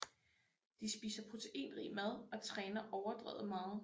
De spiser proteinrig mad og træner overdrevet meget